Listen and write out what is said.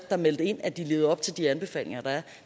der meldte ind at de levede op til de anbefalinger der er